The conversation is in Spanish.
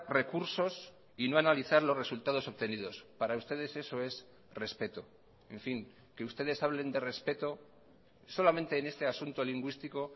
recursos y no analizar los resultados obtenidos para ustedes eso es respeto en fin que ustedes hablen de respeto solamente en este asunto lingüístico